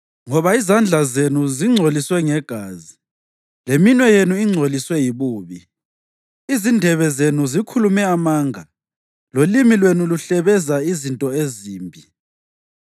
Ngoba izandla zenu zingcolisiwe ngegazi, leminwe yenu ingcoliswe yibubi. Izindebe zenu zikhulume amanga lolimi lwenu luhlebeza izinto ezimbi.